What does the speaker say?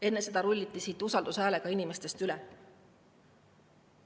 Enne seda rulliti siit usaldushääletusega inimestest üle.